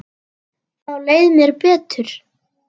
Þá leið mér betur.